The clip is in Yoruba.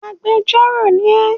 Agbẹjọ́rò ni ẹ!